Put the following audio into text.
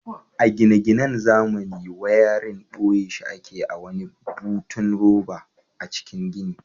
A gine-ginan zamani wayarin boye shi ake a wani butun roba a cikin gini.